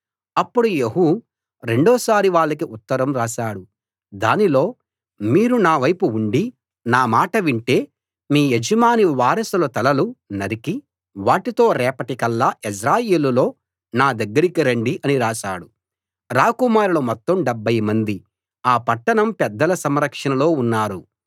అప్పుడు యెహూ రెండోసారి వాళ్లకు ఉత్తరం రాశాడు దానిలో మీరు నా వైపు ఉండి నా మాట వింటే మీ యజమాని వారసుల తలలు నరికి వాటితో రేపటికల్లా యెజ్రెయేలులో నా దగ్గరికి రండి అని రాశాడు రాకుమారులు మొత్తం డెబ్భై మంది ఆ పట్టణం పెద్దల సంరక్షణలో ఉన్నారు